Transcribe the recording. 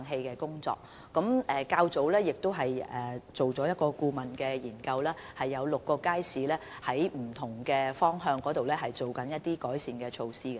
較早前，我們已完成了一項顧問研究，現正就6個街市進行不同方面的改善措施。